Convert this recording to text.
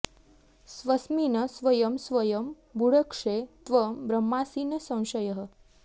स्वस्मिन् स्वयं स्वयं भुङ्क्षे त्वं ब्रह्मासि न संशयः